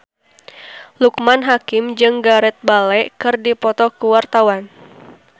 Loekman Hakim jeung Gareth Bale keur dipoto ku wartawan